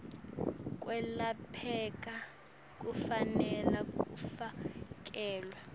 kwelapheka kufanele kufakelwe